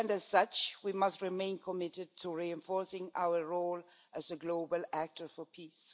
As such, we must remain committed to reinforcing our role as a global actor for peace.